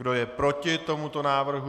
Kdo je proti tomuto návrhu?